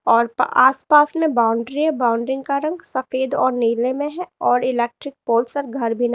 और प आस पास में बाउंड्री है। बाउंड्रींग का रंग सफेद और नीले में है और इलेक्ट्रिक पोल सब घर भी न --